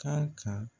Kan ka